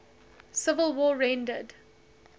civil war rendered